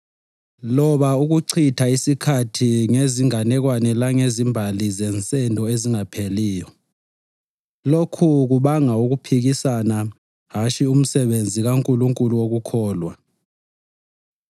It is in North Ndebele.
loba ukuchitha isikhathi ngezinganekwane langezimbali zensendo ezingapheliyo. Lokhu kubanga ukuphikisana hatshi umsebenzi kaNkulunkulu wokukholwa.